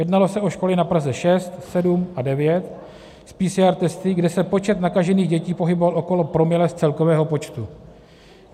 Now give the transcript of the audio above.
Jednalo se o školy na Praze 6, 7 a 9 s PCR testy, kde se počet nakažených dětí pohyboval okolo promile z celkového počtu.